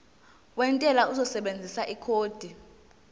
wentela uzosebenzisa ikhodi